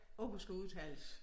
Ordet skal udtales